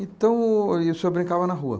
Então, aí o senhor brincava na rua?